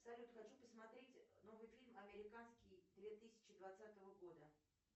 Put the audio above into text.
салют хочу посмотреть новый фильм американский две тысячи двадцатого года